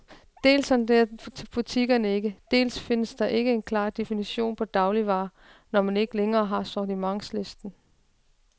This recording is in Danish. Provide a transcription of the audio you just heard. Dels sondrer butikkerne ikke, dels findes der ikke en klar definition på dagligvarer, når man ikke længere har sortimentslisten.